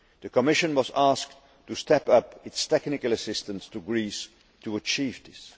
The Commission was asked to step up its technical assistance to Greece to achieve